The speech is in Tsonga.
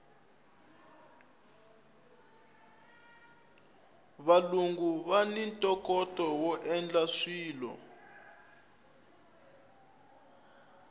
valungu vani ntokoto woendla swilo